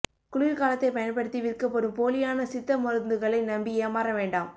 குளிா் காலத்தைப் பயன்படுத்தி விற்கப்படும் போலியான சித்த மருந்துகளை நம்பி ஏமாற வேண்டாம்